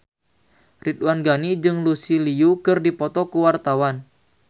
Ridwan Ghani jeung Lucy Liu keur dipoto ku wartawan